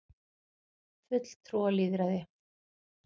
fulltrúalýðræði